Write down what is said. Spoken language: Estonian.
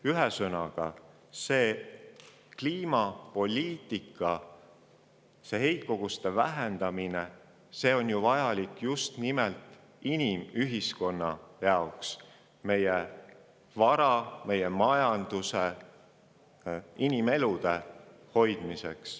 Kliimapoliitika ja heitkoguste vähendamine on ju vajalik just nimelt inimühiskonna jaoks, meie vara, meie majanduse ja inimelude hoidmiseks.